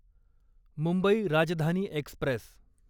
Mumbai Rajdhani Express